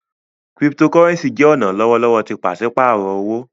Cryptocurrency jẹ ọna lọwọlọwọ ti paṣipaarọ owo.